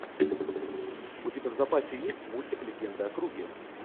у тебя в запасе есть мультик легенда о круге